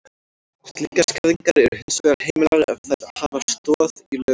Slíkar skerðingar eru hins vegar heimilar ef þær hafa stoð í lögum.